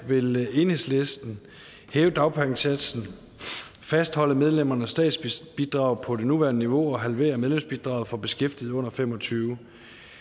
vil enhedslisten hæve dagpengesatsen fastholde medlemmernes statsbidrag på det nuværende niveau og halvere medlemsbidraget for beskæftigede under fem og tyve